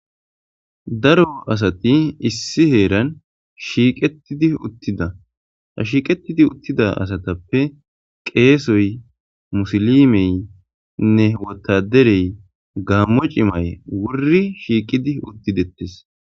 daro asati issi heeran shiiqettidi uttida ha shiiqettidi uttida asatappe qeesoy musolimeynne wotaderey gaammo cimay wuri shiiqidi uttidettes